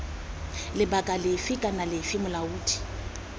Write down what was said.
lebaka lefe kana lefe molaodi